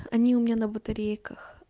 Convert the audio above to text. они у меня на батарейках